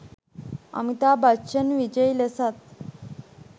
අමිතාබ් බච්චන් විජයි ලෙසත්